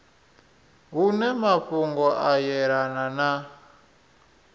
hune mafhungo a yelanaho na